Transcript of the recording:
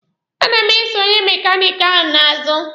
A na m eso onye mekaniki ahụ n'azụ.